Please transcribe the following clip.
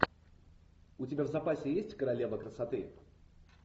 у тебя в запасе есть королева красоты